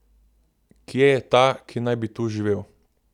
Kje je ta, ki naj bi tu živel?